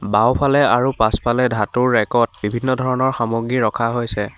বাওঁফালে আৰু পাছফালে ধাতুৰ ৰেকত বিভিন্ন ধৰণৰ সামগ্ৰী ৰখা হৈছে।